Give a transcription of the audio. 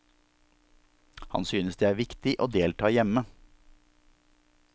Han synes det er viktig å delta hjemme.